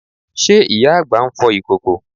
Ṣe ìyá àgbà ń fọ ìkòkò?